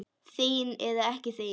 Þegin eða ekki þegin.